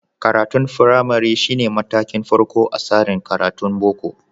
Karatun firamari shi ne matakin farko a tsarin karatun Boko.